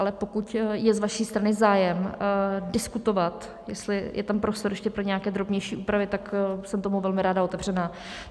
Ale pokud je z vaší strany zájem diskutovat, jestli je tam prostor ještě pro nějaké drobnější úpravy, tak jsem tomu velmi ráda otevřená.